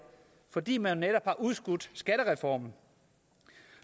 fordi man netop har udskudt skattereformen